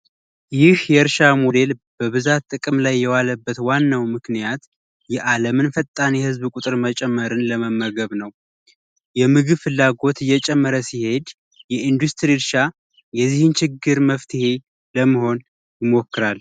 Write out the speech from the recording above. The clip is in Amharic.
ይህ የእርሻ ሞዴል በብዛት ጥቅም ላይ የዋለበት ዋናው ምክንያት የዓለምን ፈጣን የህዝብ ቁጥር መጨመርን ለመመገብ ነው። የምግብ ፍላጎት እየጨመረ ሲሄድ የኢንዱስትሪ እርሻ የዚህን ችግር መፍትሄ ለመሆን ይሞክራል።